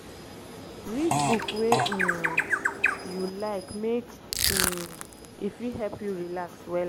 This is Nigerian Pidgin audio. read book wey um yu like mek um e fit help you relax wella